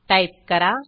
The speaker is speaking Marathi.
टाईप करा